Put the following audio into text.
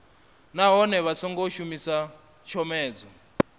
nahone vha songo shumisa tshomedzo